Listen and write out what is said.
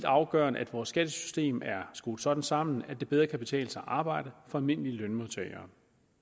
afgørende at vores skattesystem er skruet sådan sammen at det bedre kan betale sig at arbejde for almindelige lønmodtagere